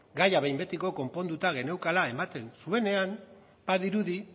gaia behin betiko konponduta geneukala ematen zuenean badirudi